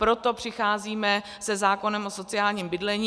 Proto přicházíme se zákonem o sociálním bydlení.